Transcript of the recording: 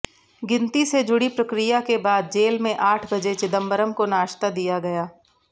गिनती से जुड़ी प्रक्रिया के बाद जेल में आठ बजे चिदंबरम को नाश्ता दिया गया